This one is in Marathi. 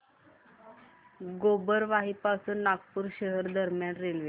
गोबरवाही पासून नागपूर शहर दरम्यान रेल्वे